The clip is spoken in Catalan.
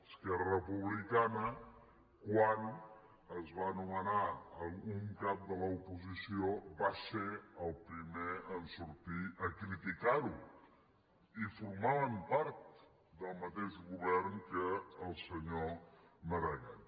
esquerra republicana quan es va nomenar un cap de l’oposició va ser el primer en sortir a criticar ho i formaven part del mateix govern que el senyor maragall